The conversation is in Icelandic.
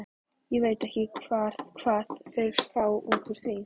Ég veit ekki hvað þeir fá út úr því.